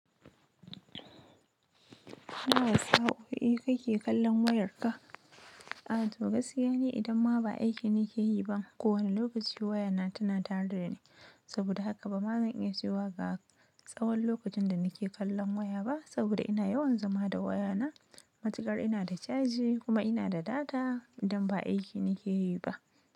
Nawa sa'o'i kake kalan wayarka? Eh a'a to gaskiya ne idan ma ba aiki ni ke yi ba kowane lokaci wayana tana tare dani. Saboda haka bama zan iya cewa ga tsawon lokacin da ni ke kallon waya ba saboda ina yawan zama da wayana. Matuƙar ina da caji kuma ina da data idan ba aiki ni ke yi ba.